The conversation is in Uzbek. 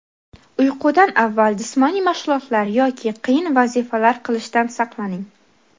Uyqudan avval jismoniy mashg‘ulotlar yoki qiyin vazifalar qilishdan saqlaning.